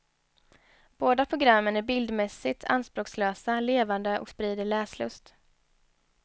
Båda programmen är bildmässigt anspråkslösa, levande och sprider läslust.